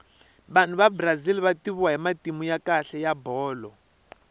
vanhu vabrazil vativiwa hhimatimu yakhale yabholoi